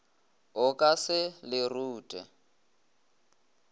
o ka se le rute